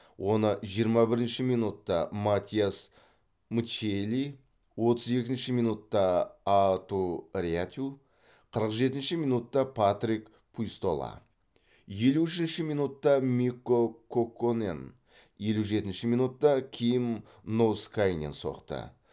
оны жиырма бірінші минутта матиас мччелли отыз екінші минутта аату рятю қырық жетінші минутта патрик пуйстола елу үшінші минутта микко кокконен елу жетінші минутта ким ноускайнен соқты